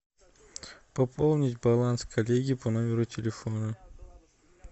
пополнить баланс коллеги по номеру телефона